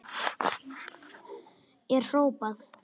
er hrópað.